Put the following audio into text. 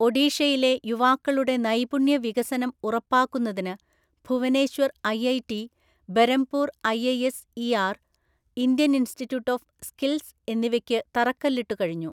ഒഡീഷയിലെ യുവാക്കളുടെ നൈപുണ്യ വികസനം ഉറപ്പാക്കുന്നതിന് Bhubaneswar IIT, Berhampur IISER, Indian Institute of Skills എന്നിവയ്ക്കു തറക്കല്ലിട്ടു കഴിഞ്ഞു.